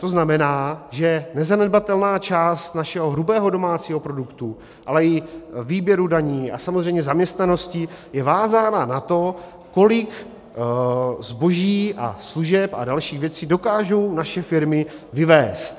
To znamená, že nezanedbatelná část našeho hrubého domácího produktu, ale i výběru daní a samozřejmě zaměstnanosti je vázána na to, kolik zboží a služeb a dalších věcí dokážou naše firmy vyvézt.